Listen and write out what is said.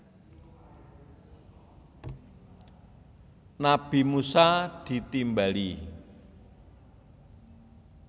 Nabi Musa ditimbali